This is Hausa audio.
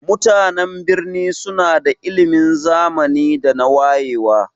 Mutanan birni suna da ilimin zamani da wayewa.